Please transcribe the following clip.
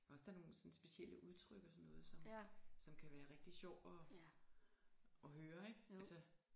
Også der nogen sådan specielle udtryk og sådan noget som som kan være rigtig sjov at at høre ikke altså